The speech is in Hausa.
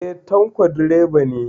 Eh, Tanko direba ne